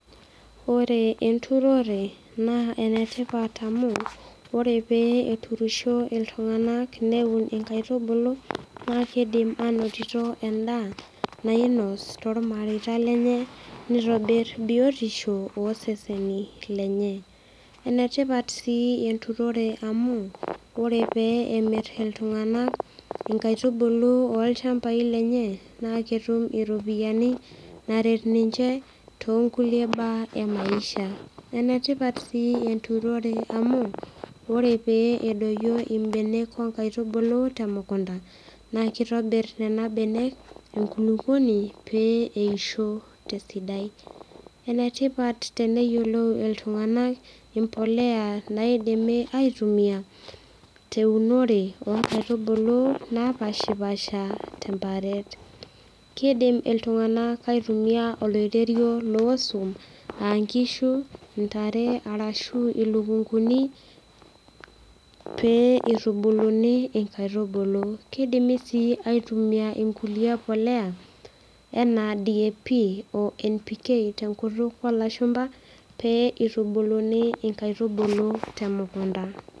Ore enturore naa enetipat amu ore pee etuirisho iltung'anak neun inkaitubulu naa kidim anotito endaa nainos tormareita lenye nitobirr biotisho oseseni lenye enetipat sii enturore amu ore pee emirr iltung'anak inkaitubulu olchambai lenye naa ketum iropiyiani naret ninche tonkulie baa emaisha enetipat sii enturore amu ore pee edoyio imbenek onkaitubulu temukunta naa kitobirr nena benek enkulukuoni pee eisho tesidai enetipat teneyiolou iltung'anak impoleya naidimi aitumia teunore onkaitubulu napashipasha temparet kidim iltung'anak aitumia oloiterio losuam ankishu intare arashu ilukunguni pee itubuluni inkaitubulu kidimi sii aitumia inkulie poleya enaa DAP o NPK tenkutuk olashumpa pee itubuluni inkaitubulu temukunta.